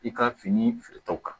I ka fini feere tɔw kan